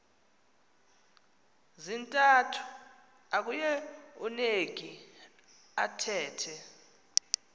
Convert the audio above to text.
zintathu akueuneki athethe